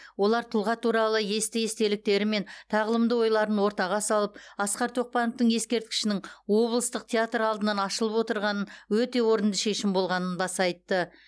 олар тұлға туралы есті естеліктері мен тағылымды ойларын ортаға салып асқар тоқпановтың ескерткішінің облыстық театр алдынан ашылып отырғанын өте орынды шешім болғанын баса айтты